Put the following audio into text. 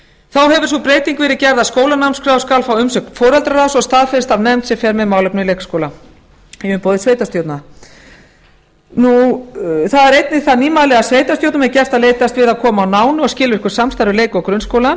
það hefur sú breyting verið gerð að skólanámskrá skal fá umsögn foreldraráðs og staðfest af nefnd sem fer með málefni leikskóla í umboð sveitarstjórna það er einnig það nýmæli að sveitarstjórnum er gert að leitast við að koma á nánu og skilvirku samstarfi leik og grunnskóla